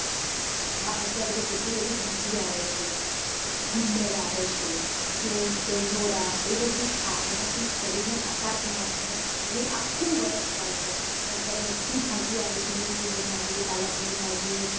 હા અત્યારે તો કેટલી બધી ભાજી આવે છે ગુંદર આવે છે, સૂંઠ, ગંઠોડા એ બધું ખા એનાથી શરીર ને તાકાત મળશે અને એ આખું વર્ષ ચાલશે અને અત્યારે બધીજ ભાજી આવે છે મેથીની ભાજી, પાલક ની ભાજી.